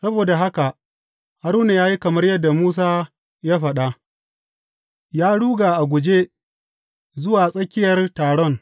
Saboda haka Haruna ya yi kamar yadda Musa ya faɗa, ya ruga a guje zuwa tsakiyar taron.